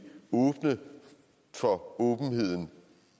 åbne for åbenheden